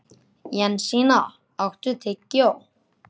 Jensína, áttu tyggjó?